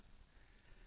सभ कौ एकै घड़ै कुम्हार